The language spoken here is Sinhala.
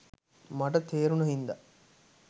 මට තේ‍රුණ හින්දා